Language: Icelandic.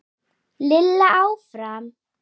Lilla áfram.